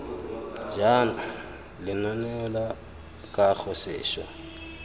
jaana lenaneo la kago seswa